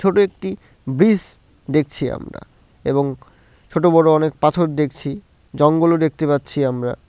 ছোটো একটি ব্রিস দেখছি আমরা এবং ছোটো বড় অনেক পাথর দেখছি জঙ্গলও দেখতে পাচ্ছি আমরা ।